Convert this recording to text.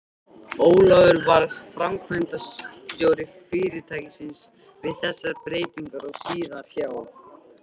Ólafur varð framkvæmdastjóri fyrirtækisins við þessar breytingar og síðar hjá